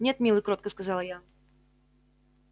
нет милый кротко сказала я